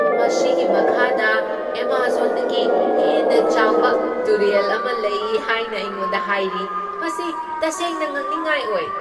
ꯃꯁꯤꯒꯤ ꯃꯈꯥꯗ ꯑꯦꯃꯥꯖꯣꯟꯗꯒꯤ ꯍꯦꯟꯅ ꯆꯥꯎꯕ ꯇꯨꯔꯦꯜ ꯑꯃ ꯂꯩ ꯍꯥꯏꯅ ꯑꯩꯉꯣꯟꯗ ꯍꯥꯏꯔꯤ ꯫ ꯃꯁꯤ ꯇꯁꯦꯡꯅ ꯉꯛꯅꯤꯡꯉꯥꯏ ꯑꯣꯏ!